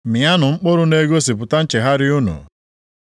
Mịanụ mkpụrụ na-egosipụta nchegharị unu.